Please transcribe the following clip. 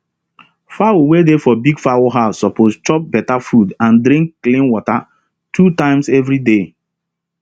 fowl wey dey for big fowl house suppose chop beta food and drink clean water two times every day